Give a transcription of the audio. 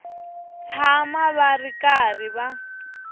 tshama va ri karhi va